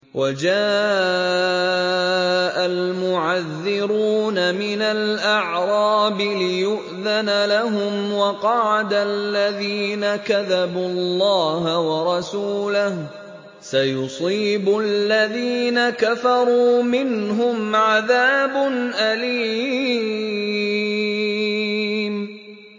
وَجَاءَ الْمُعَذِّرُونَ مِنَ الْأَعْرَابِ لِيُؤْذَنَ لَهُمْ وَقَعَدَ الَّذِينَ كَذَبُوا اللَّهَ وَرَسُولَهُ ۚ سَيُصِيبُ الَّذِينَ كَفَرُوا مِنْهُمْ عَذَابٌ أَلِيمٌ